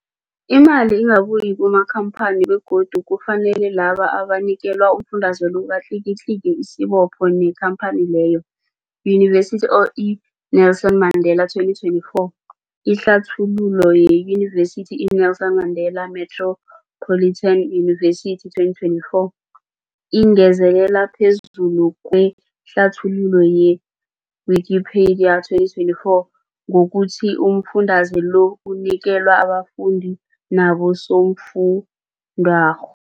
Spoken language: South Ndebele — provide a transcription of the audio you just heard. Imali ingabuyi kumakhamphani begodu kufanele labo abanikelwa umfundaze lo batlikitliki isibopho neenkhamphani leyo, Yunivesity i-Nelson Mandela 2024. Ihlathululo yeYunivesithi i-Nelson Mandela Metropolitan University, 2024, ingezelele phezulu kwehlathululo ye-Wikipedia, 2024, ngokuthi umfundaze lo unikelwa abafundi nabosofundwakgho.